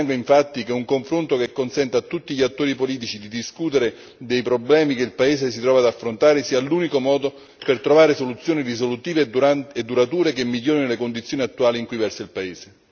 Ritengo infatti che un confronto che consenta a tutti gli attori politici di discutere dei problemi che il paese si trova ad affrontare sia l'unico modo per trovare soluzioni risolutive e durature che migliorino le condizioni attuali in cui versa il paese.